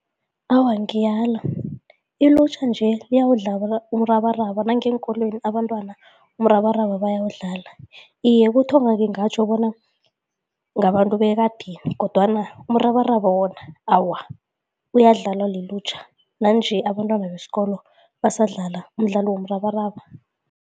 Awa, ngiyala. Ilutjha nje uyawudla umrabaraba nangeenkolweni abantwana umrabaraba bayawudlala. Iye, kuthoma ngingatjho bona ngabantu bekadeni kodwana umrabaraba wona awa uyadlalwa lilutjha nanje abantwana besikolo basidlala umdlalo womrabaraba.